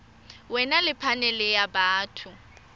wena ke phanele ya batho